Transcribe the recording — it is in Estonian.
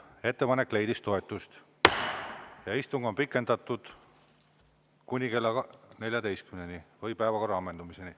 Ettepanek leidis toetust ja istung on pikendatud kuni kella 14-ni või päevakorra ammendumiseni.